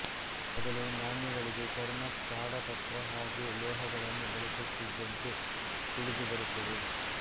ಮೊದಲು ನಾಣ್ಯಗಳಿಗೆ ಚರ್ಮ ತಾಡಪತ್ರ ಹಾಗೂ ಲೋಹಗಳನ್ನು ಬಳಸುತ್ತಿದ್ದಂತೆ ತಿಳದುಬರುತ್ತದೆ